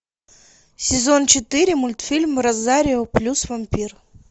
сезон четыре мультфильм розарио плюс вампир